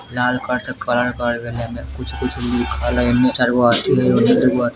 लाल colour से colour करल गेले लेमे ए में कुछ-कुछ लिखल है ईम ए में चार गो--